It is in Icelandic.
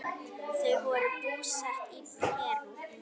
Þau voru búsett í Perú.